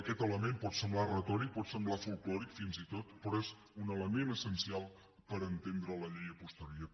aquest element pot semblar retòric pot semblar folklòric fins i tot però és un element essencial per entendre la llei a posteriori